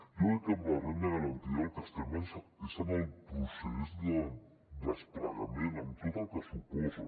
jo crec que amb la renda garantida el que estem és en el procés de desplegament amb tot el que suposa